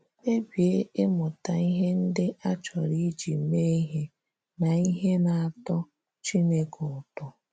Kpebie ịmụta ihe ndị a chọrọ iji mee ihe na ihe na - atọ Chineke ụtọ.